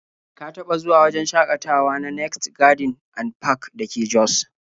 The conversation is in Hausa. Ka taɓa zuwa wajen shakatawa na next garden and park da ke jos?